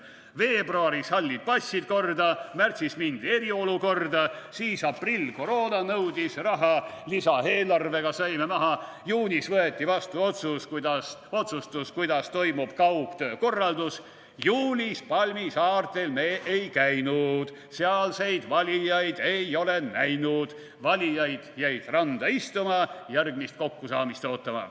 / Veebruaris hallid passid korda, / märtsis mindi eriolukorda, / siis aprill, koroona nõudis raha, / lisaeelarvega saime maha, / juunis võeti vastu otsustus, / kuidas toimub kaugtöö korraldus, / juulis palmisaartel me ei käinud, / sealseid valijaid ei ole näinud, / valijad jäid randa istuma, / järgmist kokkusaamist ootama.